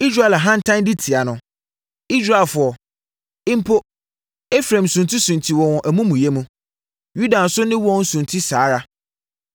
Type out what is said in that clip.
Israel ahantan di tia no. Israelfoɔ, mpo Efraim suntisunti wɔ wɔn amumuyɛ mu; Yuda nso ne wɔn sunti saa ara.